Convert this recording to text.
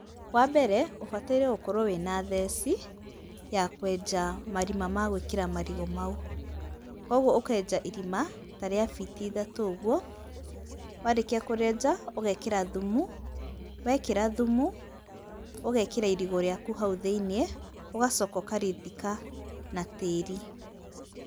Wambere ũbataire gũkorwo wĩna theci, yakwenja marima ma gwĩkĩra marigũ mau. Koguo ũkenja irima, ta rĩa biti ithatũ ũguo, warĩkia kũrĩenja ũgekĩra thumu, wekĩra thumu, ũgekĩra irigũ rĩaku hau thĩinĩ, ũgacoka ũkarĩthika na tĩri.